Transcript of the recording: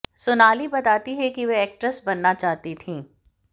सोनाली बताती हैं कि वह एक्ट्रेस बनना चाहती थीं